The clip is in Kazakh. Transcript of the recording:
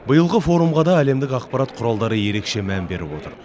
биылғы форумға да әлемдік ақпарат құралдары ерекше мән беріп отыр